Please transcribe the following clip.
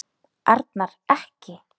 Arnar. ekki!